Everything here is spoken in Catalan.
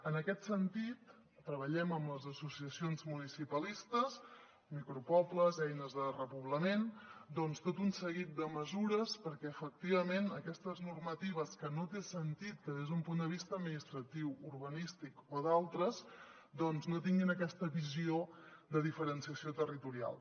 en aquest sentit treballem amb les associacions municipalistes micropobles eines de repoblament tot un seguit de mesures perquè efectivament aquestes normatives que no té sentit que des d’un punt de vista administratiu urbanístic o d’altres no tinguin aquesta visió de diferenciació territorial